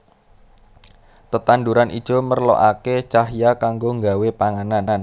Tetanduran ijo merlokaké cahya kanggo nggawé panganan